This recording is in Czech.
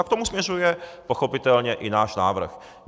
A k tomu směřuje pochopitelně i náš návrh.